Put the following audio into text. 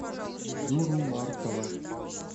юру маркова